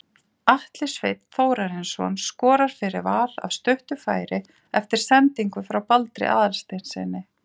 Atli Sveinn Þórarinsson skorar fyrir Val af stuttu færi eftir sendingu frá Baldri Aðalsteinssyni.